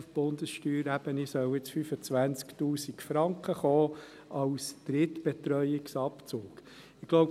Auf Bundessteuerebene sollen jetzt 25 000 Franken als Drittbetreuungsabzug kommen.